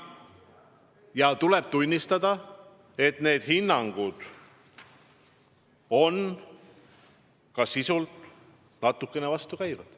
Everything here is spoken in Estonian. Ja tuleb tunnistada, et need hinnangud on sisult natukene vastukäivad.